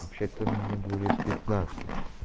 вообще-то мне будет пятнадцать